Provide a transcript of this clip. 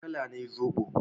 Wane kala ne zobo?